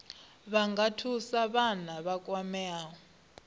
nga thusa vhane vha kwamea